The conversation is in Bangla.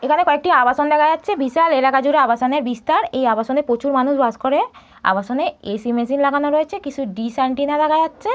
এখানে কয়েকটি আবাসন দেখা যাচ্ছে বিশাল এলাকা জুড়ে আবাসনের বিস্তার এই আবাসনে প্রচুর মানুষ বাস করে আবাসনে এ.সি. মেশিন লাগানো আছে কিছু ডিস এন্টেনা দেখা যাচ্ছে।